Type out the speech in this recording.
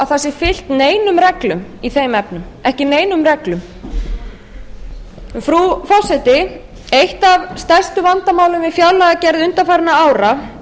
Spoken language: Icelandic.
sé fylgt neinum reglum í þeim efnum frú forseti eitt af stærstu vandamálum við fjárlagagerð undanfarandi ára